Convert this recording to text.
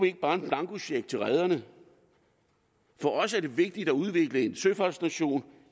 ikke bare en blankocheck ud til rederne for os er det vigtigt at udvikle en søfartsnation